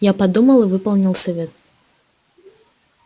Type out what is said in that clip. я подумал и выполнил совет